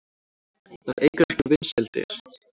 Það eykur ekki vinsældir.